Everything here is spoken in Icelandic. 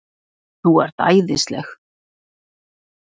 ÞÚ ERT ÆÐISLEG!